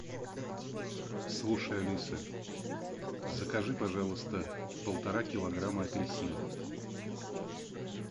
слушай алиса закажи пожалуйста полтора килограмма апельсинов